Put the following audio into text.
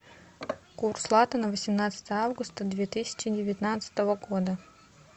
курс лата на восемнадцатое августа две тысячи девятнадцатого года